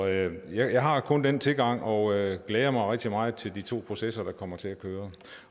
jeg har kun den tilgang og jeg glæder mig rigtig meget til de to processer der kommer til at køre